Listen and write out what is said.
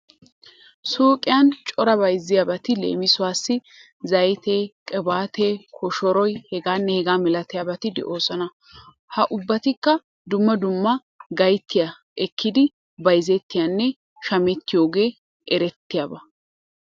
Suyqiyan cora bayzettiyabati leemisuwassi:- zaytee, qibaatee, koshoroy hegaanne hegaa malatiyabati de'oosona. Ha ubbatikka dumma dumma gatiya ekkidi bayzettiyanne shamettiyogee erettiyaba.